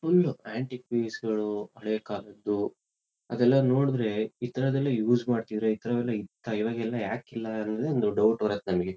Full antique piece ಗಳು ಹಳೆ ಕಾಲದ್ದು. ಅದೆಲ್ಲ ನೋಡಿದ್ರೆ ಇತರದೆಲ್ಲಾ ಯುಸ್ ಮಾಡ್ತಿದ್ರಾ? ಇತರವೆಲ್ಲಾ ಇತ್ತಾ? ಇವಾಗೆಲ್ಲಾ ಯಾಕಿಲ್ಲಾ? ಅನ್ನೋದೆ ಒಂದ್ ಡೌಟ್ ಬರುತ್ತೆ ನನಗೆ.